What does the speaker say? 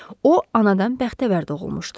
O anadan bəxtəvər doğulmuşdu.